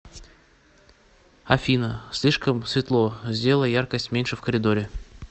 афина слишком светло сделай яркость меньше в коридоре